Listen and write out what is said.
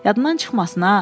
Yadından çıxmasın ha.